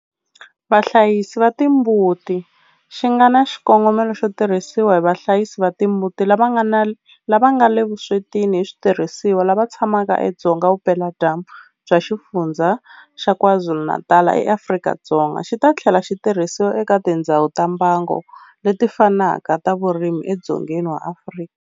Vahlayisi va timbuti xi nga na xikongomelo xo tirhisiwa hi vahlayisi va timbuti lava nga le vuswetini hi switirhisiwa lava tshamaka edzonga vupeladyambu bya Xifundzha xa KwaZulu-Natal eAfrika-Dzonga, xi ta tlhela xi tirhisiwa eka tindhawu ta mbango leti fanaka ta vurimi edzongeni wa Afrika.